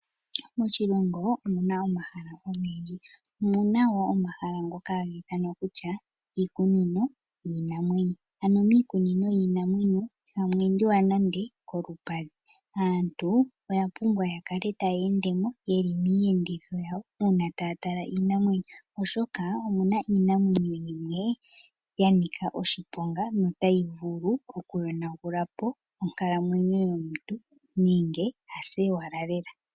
Moshilongo omuna omahala ongendji , omuna wo omahala ngoka hangithanwa kutya iikunino yinamwenyo , ano mikunino yinamwenyo ihamwendiwa nande kolupadhi , aantu oya pumbwa yakale tayendemo yeli miyenditho yawo una tatala iinamwenyo oshoka omuna iinamwenyo yimwe yanika oshiponga notayi vulu okuyonangulapo okanamwenyo yomuntu nenge ase owala lela.